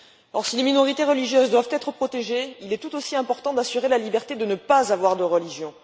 Or, si les minorités religieuses doivent être protégées, il est tout aussi important d'assurer la liberté de ne pas avoir de religion.